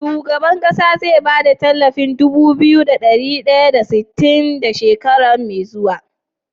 Shugaban ƙasa ze ba da talafin Dubu biyu da dari daya da sitin da shekara me zuwa?